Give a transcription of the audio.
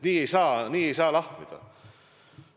Nii ei saa, nii ei saa lahmida!